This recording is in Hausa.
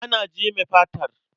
Ana jeme fatar.